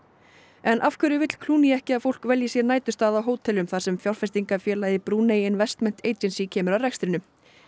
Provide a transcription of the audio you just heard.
en af hverju vill ekki að fólk velji sér næturstað á hótelum þar sem fjárfestingarfélagið Brúnei investment kemur að rekstrinum